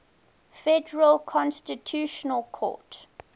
federal constitutional court